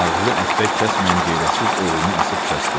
Ağzı əppək kəsməyən qeyrətsiz oğlunu asıb kəsdi.